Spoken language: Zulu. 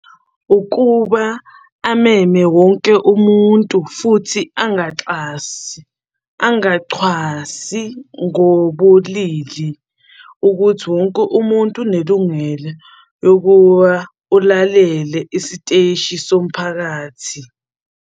Ukuba ameme wonke umuntu, futhi angaxasi, angachwasi ngobulili, ukuthi wonke umuntu unelungelo lokuwa ulalele isiteshi somphakathi.